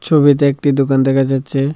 ছবিতে একটি দোকান দেখা যাচ্চে।